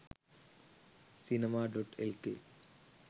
cinema.lk